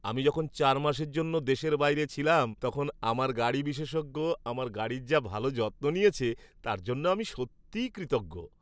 আমি যখন চার মাসের জন্য দেশের বাইরে ছিলাম তখন আমার গাড়ি বিশেষজ্ঞ আমার গাড়ির যা ভালো যত্ন নিয়েছে তার জন্য আমি সত্যিই কৃতজ্ঞ।